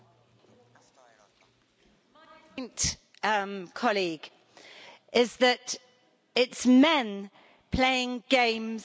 colleague is that it is men playing games with the lives of people around the world.